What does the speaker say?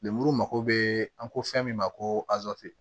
Lemuru mako bɛ an ko fɛn min ma ko